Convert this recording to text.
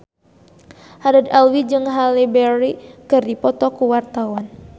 Haddad Alwi jeung Halle Berry keur dipoto ku wartawan